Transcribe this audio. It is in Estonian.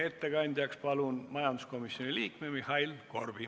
Ettekandjaks palun majanduskomisjoni liikme Mihhail Korbi.